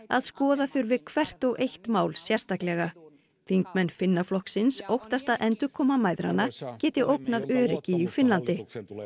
að skoða þurfi hvert og eitt mál sérstaklega þingmenn Finnaflokksins óttast að endurkoma mæðranna geti ógnað öryggi í Finnlandi